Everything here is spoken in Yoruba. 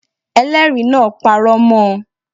Elẹ́ẹ̀rí náà parọ́ mọ